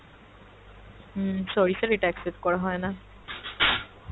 হুম sorry sir এটা accept করা হয়না।